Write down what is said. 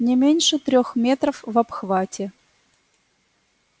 не меньше трёх метров в обхвате